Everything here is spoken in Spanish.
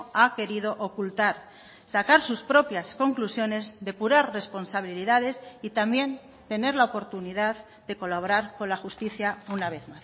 ha querido ocultar sacar sus propias conclusiones depurar responsabilidades y también tener la oportunidad de colaborar con la justicia una vez